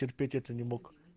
терпеть это не мог